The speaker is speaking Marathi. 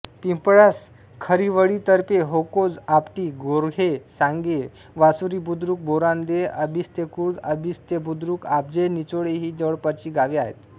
पिंपळास खारिवळीतर्फेकोहोज आपटी गोर्हे सांगे वासुरीबुद्रुक बोरांदे आंबिस्तेखुर्द आंबिस्तेबुद्रुक आब्जे निचोळे ही जवळपासची गावे आहेत